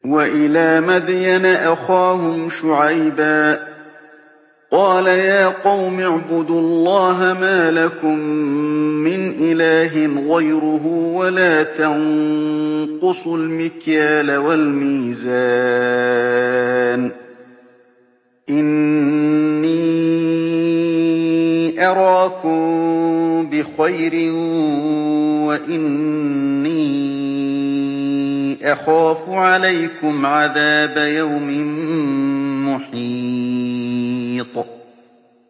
۞ وَإِلَىٰ مَدْيَنَ أَخَاهُمْ شُعَيْبًا ۚ قَالَ يَا قَوْمِ اعْبُدُوا اللَّهَ مَا لَكُم مِّنْ إِلَٰهٍ غَيْرُهُ ۖ وَلَا تَنقُصُوا الْمِكْيَالَ وَالْمِيزَانَ ۚ إِنِّي أَرَاكُم بِخَيْرٍ وَإِنِّي أَخَافُ عَلَيْكُمْ عَذَابَ يَوْمٍ مُّحِيطٍ